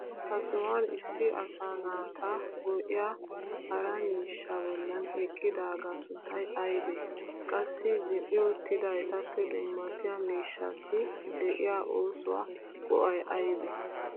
Ha sohuwan issi asaa naata go'iyaa hara miishshaa bollan eqqidaagaa sunttay aybee? Qassi zin'i uttida etappe dummatiya miishshaassi de'iyaa oosuwaa go'ay aybee?